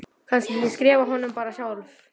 Kannski ég skrifi honum bara sjálf.